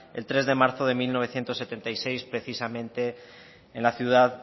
el tres de marzo de mil novecientos setenta y seis precisamente en la ciudad